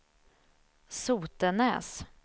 Sotenäs